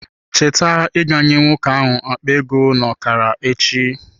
Cheta ịga nye nwoke ahụ akpa ego n'okara echi